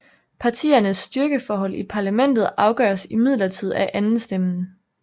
Partiernes styrkeforhold i parlamentet afgøres imidlertid af andenstemmen